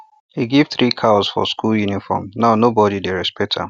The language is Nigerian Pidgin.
e give three cows for school uniform now everybody dey respect am